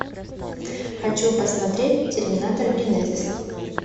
хочу посмотреть терминатор генезис